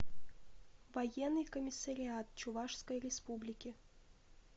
военный комиссариат чувашской республики